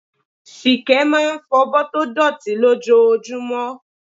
Ṣìkẹ́ máa ń fọ̀bọ́ tó dọ̀tí lójoojúmọ́.